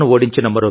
ధన్యవాదాలు సార్